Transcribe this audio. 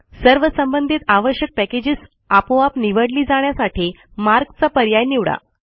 सर्व संबंधीत आवश्यक पॅकेजेस आपोआप निवडली जाण्यासाठी मार्क चा पर्याय निवडा